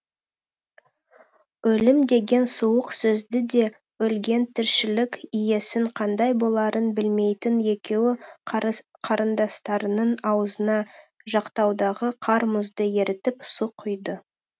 өлім деген суық сөзді де өлген тіршілік иесінің қандай боларын білмейтін екеуі қарындастарының аузына жақтаудағы қар мұзды ерітіп су құйды